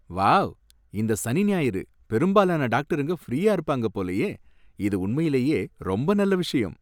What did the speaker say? Wow! இந்த சனி ஞாயிறு பெரும்பாலான டாக்டருங்க ஃப்ரீயா இருப்பாங்க போலயே, இது உண்மையிலேயே ரொம்ப நல்ல விஷயம்